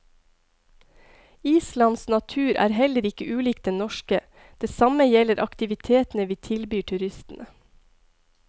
Islands natur er heller ikke ulik den norske, det samme gjelder aktivitetene vi tilbyr turistene.